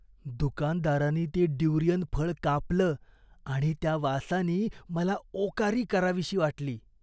दुकानदारानी ते ड्युरियन फळ कापलं आणि त्या वासानी मला ओकारी करावीशी वाटली.